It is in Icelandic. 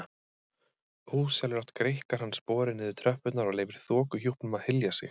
Ósjálfrátt greikkar hann sporið niður tröppurnar og leyfir þokuhjúpnum að hylja sig.